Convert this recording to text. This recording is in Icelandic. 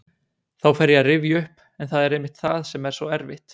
Þá fer ég að rifja upp en það er einmitt það sem er svo erfitt.